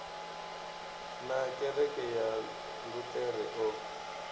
na kereke ya luṱere o